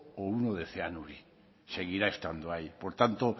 o uno de zeanuri seguirá estando ahí por tanto